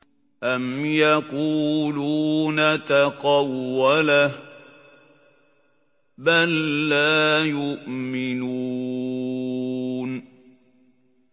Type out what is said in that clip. أَمْ يَقُولُونَ تَقَوَّلَهُ ۚ بَل لَّا يُؤْمِنُونَ